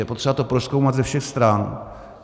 Je potřeba to prozkoumat ze všech stran.